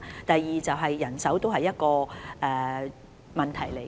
第二，人手是另一個問題。